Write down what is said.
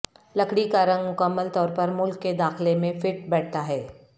لکڑی کا رنگ مکمل طور پر ملک کے داخلہ میں فٹ بیٹھتا ہے